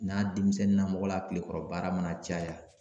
N'a denmisɛnnin namɔgɔ la kilekɔrɔ baara mana caya